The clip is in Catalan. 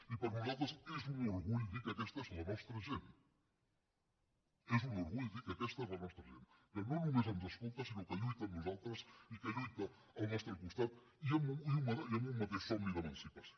i per nosaltres és un orgull dir que aquesta és la nostra gent és un orgull dir que aquesta és la nostra gent que no només ens escolta sinó que lluita amb nosaltres i que lluita al nostre costat i amb un mateix somni d’emancipació